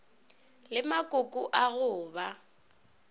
le makoko a go ba